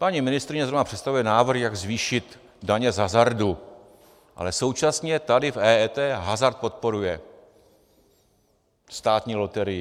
Paní ministryně zrovna představuje návrhy, jak zvýšit daně z hazardu, ale současně tady v EET hazard podporuje, státní loterii.